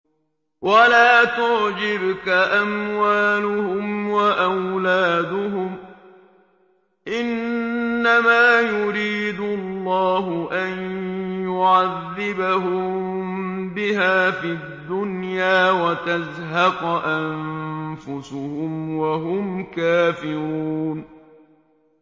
وَلَا تُعْجِبْكَ أَمْوَالُهُمْ وَأَوْلَادُهُمْ ۚ إِنَّمَا يُرِيدُ اللَّهُ أَن يُعَذِّبَهُم بِهَا فِي الدُّنْيَا وَتَزْهَقَ أَنفُسُهُمْ وَهُمْ كَافِرُونَ